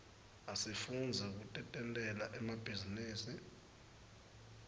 asifundzi kutentela emabhizinisi